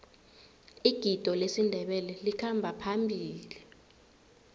igido lesindebele likhamba phambili